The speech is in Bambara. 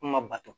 Kuma bato